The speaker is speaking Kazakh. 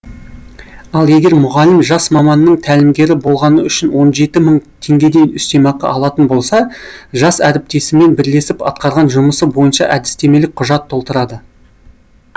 ал егер мұғалім жас маманның тәлімгері болғаны үшін он жеті мың теңгедей үстемеақы алатын болса жас әріптесімен бірлесіп атқарған жұмысы бойынша әдістемелік құжат толтырады